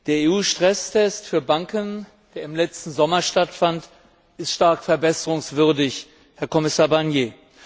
Der EU Stresstest für Banken, der im letzten Sommer stattfand, ist stark verbesserungswürdig, Herr Kommissar Barnier.